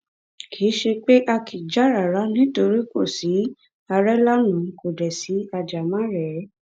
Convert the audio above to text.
kì í ṣe pé a kì í jà rárá nítorí kò sí àrélànà kò dé sí ajàmàrèé